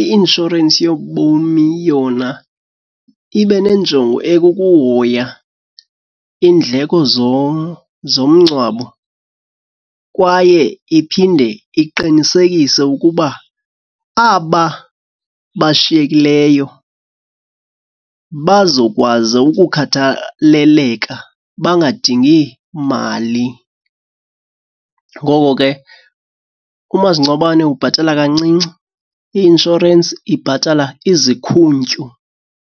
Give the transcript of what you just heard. i-inshorensi yobomi yona ibe nenjongo ekukuhoya iindleko zomngcwabo, kwaye iphinde iqinisekise ukuba aba bashiyekileyo bazokwazi ukukhathaleleka bangadingi mali. Ngoko ke umasingcwabane ubhatala kancinci, i-inshorensi ibhatala izikhuntyu.